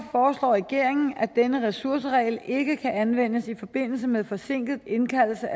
foreslår regeringen at denne ressourceregel ikke kan anvendes i forbindelse med forsinket indkaldelse